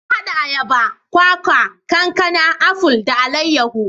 Na hada ayaba, kwakwa, kankana, aful, da alayahu.